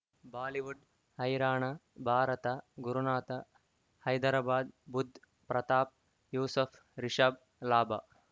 Bollywood ಹೈರಾಣ ಭಾರತ ಗುರುನಾಥ ಹೈದರಾಬಾದ್ ಬುಧ್ ಪ್ರತಾಪ್ ಯೂಸಫ್ ರಿಷಬ್ ಲಾಭ